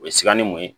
O ye sikanni mun ye